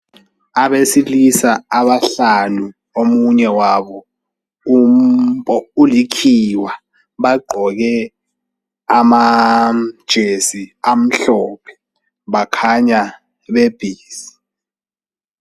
Abesilisa abahlanu omunye wabo ulikhiwa bagqoke amajesi amhlophe bakhanya be busy.